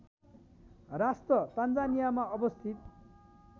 राष्ट्र तान्जानियामा अवस्थित